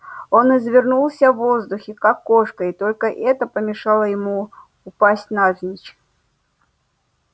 он извернулся в воздухе как кошка и только это помешало ему упасть навзничь